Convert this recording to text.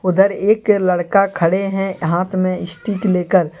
उधर एक लड़का खड़े हैं हाथ मे स्टिक लेकर।